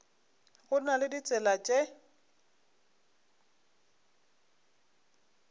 go na le ditsela tše